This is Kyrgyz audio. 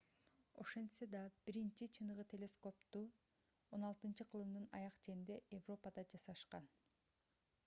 ошентсе да биринчи жолу чыныгы телескопторду 16-кылымдын аяк ченинде европада жасашкан